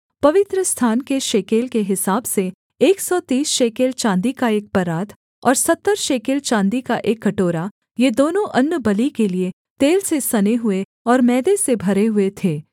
अर्थात् पवित्रस्थान के शेकेल के हिसाब से एक सौ तीस शेकेल चाँदी का एक परात और सत्तर शेकेल चाँदी का एक कटोरा ये दोनों अन्नबलि के लिये तेल से सने हुए और मैदे से भरे हुए थे